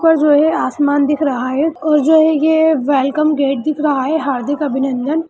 ऊपर जो है आसमान दिख रहा है और जो है ये वेलकम गेट दिख रहा है। हार्दिक अभिनंदन--